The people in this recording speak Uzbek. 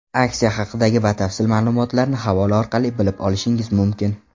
Aksiya haqidagi batafsil ma’lumotlarni havola orqali bilib olishingiz mumkin.